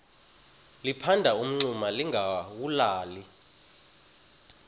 liphanda umngxuma lingawulali